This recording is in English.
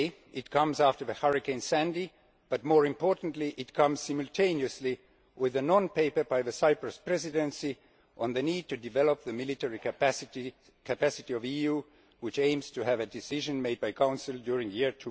It comes after Hurricane Sandy but, more importantly, it comes simultaneously with a non paper by the Cyprus Presidency on the need to develop the military capacity of the EU, which aims to have a decision made by the Council during the year